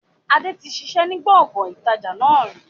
Adé tí ṣiṣẹ́ ni gbọ̀ngàn ìtajà náà rí